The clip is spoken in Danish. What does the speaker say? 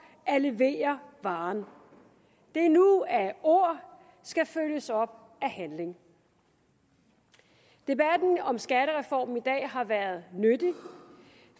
at levere varen det er nu at ord skal følges op af handling debatten om skattereformen i dag har været nyttig